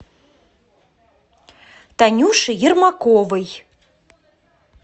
танюши ермаковой